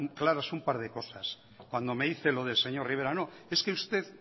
claras un par de cosas cuando me dice lo del señor rivera no es que usted